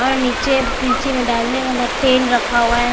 और नीचे पीछे में डालने वाला तेल रखा हुआ है।